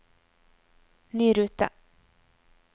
ny rute